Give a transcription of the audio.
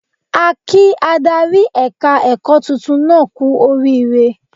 A kí adarí ẹ̀ka ẹ̀kọ́ titun náà kú oríire